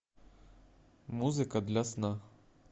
музыка для сна